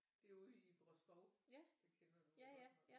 Derude i Bråskov det kender du da godt